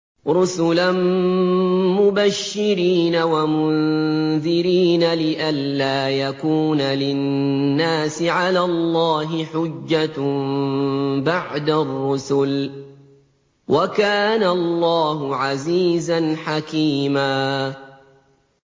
رُّسُلًا مُّبَشِّرِينَ وَمُنذِرِينَ لِئَلَّا يَكُونَ لِلنَّاسِ عَلَى اللَّهِ حُجَّةٌ بَعْدَ الرُّسُلِ ۚ وَكَانَ اللَّهُ عَزِيزًا حَكِيمًا